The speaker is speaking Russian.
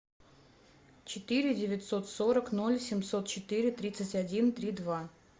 четыре девятьсот сорок ноль семьсот четыре тридцать один три два